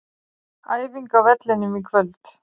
Æfing á vellinum í kvöld.